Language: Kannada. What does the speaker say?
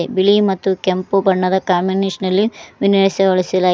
ಬಿಳಿ ಮತ್ತು ಕೆಂಪು ಬಣ್ಣದ ಕಾಮಿನೆಶನ ಲ್ಲಿ ವಿನಯಿಸವೊಳಿಸಲ--